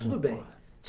Tudo bem.